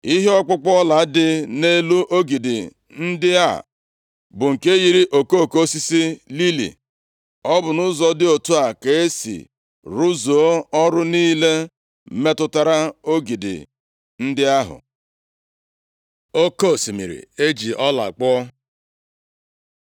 Ihe ọkpụkpụ ọla dị nʼelu ogidi ndị a bụ nke yiri okoko osisi lili. Ọ bụ nʼụzọ dị otu a ka e si rụzuo ọrụ niile metụtara ogidi ndị ahụ. Oke osimiri eji ọla kpụọ